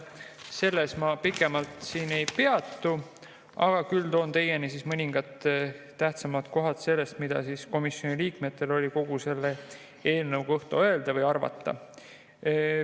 Sellel ma pikemalt ei peatu, küll aga toon teieni mõningad tähtsamad kohad sellest, mida komisjoni liikmetel oli selle eelnõu kohta öelda või arvata.